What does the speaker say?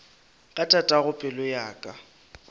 ka tatago pelo ya ka